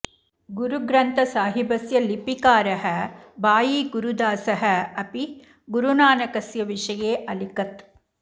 गुरुग्रन्थसाहिबस्य लिपिकारः भाई गुरुदासः अपि गुरुनानकस्य विषये अलिखत्